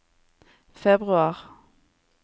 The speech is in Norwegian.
februar